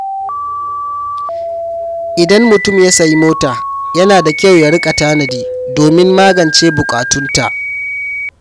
Idan mutum ya sayi mota, yana da kyau ya riƙa tanadi domin magance buƙatunta.